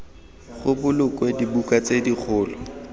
go bolokwe dibuka tse dikgolo